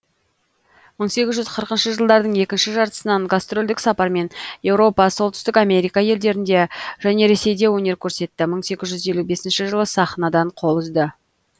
мың сегіз жүз қырықыншы жылдардың екінші жартысынан гастрольдік сапармен еуропа солтүстік америка елдерінде және ресейде өнер көрсетті мың сегіз жүз елу бесінші жылы сахнадан қол үзді